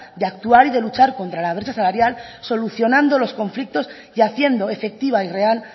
de actuar y de luchar contra la brecha salarial solucionando los conflictos y haciendo efectiva y real